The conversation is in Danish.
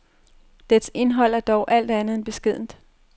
Dets indhold er dog alt andet end beskedent.